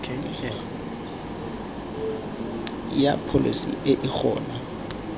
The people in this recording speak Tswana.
ya pholesi e e gona